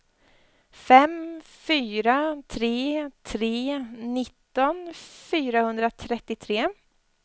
fem fyra tre tre nitton fyrahundratrettiotre